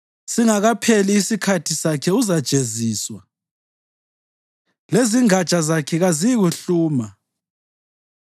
Singakapheli isikhathi sakhe uzajeziswa, lezingatsha zakhe kaziyikuhluma.